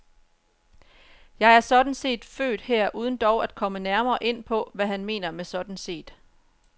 Jeg er sådan set født her uden dog at komme nærmere ind på, hvad han mener med sådan set.